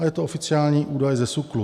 A je to oficiální údaj ze SÚKLu.